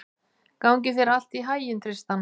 Gangi þér allt í haginn, Tristan.